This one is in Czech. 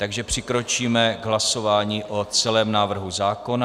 Takže přikročíme k hlasování o celém návrhu zákona.